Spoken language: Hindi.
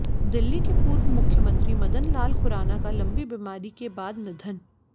दिल्ली के पूर्व मुख्यमंत्री मदन लाल खुराना का लंबी बीमारी के बाद निधन